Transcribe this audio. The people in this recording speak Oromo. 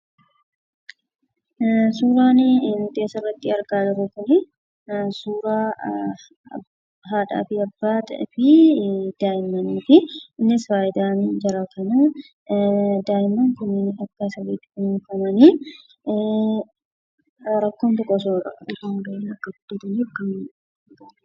Suuraan asiin gaditti argamu kun suuraa abbaa, haadhaa fi daa'imman osoo rakkoo hin qabaatin guddachaa jiranii dha.